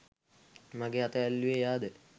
මගෙ අත ඇල්ලුවෙ එයාද